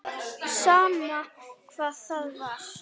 Sama hvað það var.